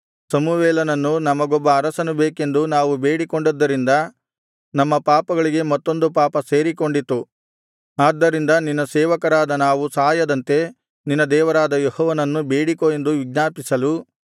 ಸಮುವೇಲನನ್ನು ನಮಗೊಬ್ಬ ಅರಸನು ಬೇಕೆಂದು ನಾವು ಬೇಡಿಕೊಂಡದ್ದರಿಂದ ನಮ್ಮ ಪಾಪಗಳಿಗೆ ಮತ್ತೊಂದು ಪಾಪ ಸೇರಿಕೊಂಡಿತು ಆದ್ದರಿಂದ ನಿನ್ನ ಸೇವಕರಾದ ನಾವು ಸಾಯದಂತೆ ನಿನ್ನ ದೇವರಾದ ಯೆಹೋವನನ್ನು ಬೇಡಿಕೋ ಎಂದು ವಿಜ್ಞಾಪಿಸಲು